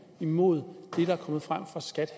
imod det der er kommet frem fra skat